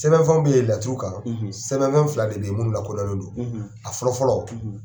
Sɛbɛn fɛnw bɛ ye latuuru kan sɛbɛn fɛn fila de bɛ ye munnu lakodɔnlen do a fɔlɔ fɔlɔ